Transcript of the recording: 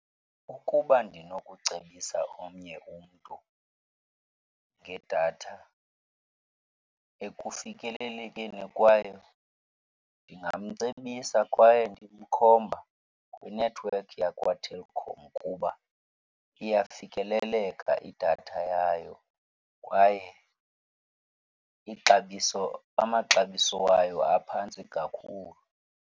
Ukuba ndinokucebisa omnye umntu ngedatha ekufikelelekeni kwayo, ndingamcebisa kwaye ndimkhomba kwinethiwekhi yakwaTelkom kuba iyafikeleleka idatha yayo kwaye ixabiso amaxabiso wayo aphantsi kakhulu.